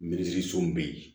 Mirisiw bɛ yen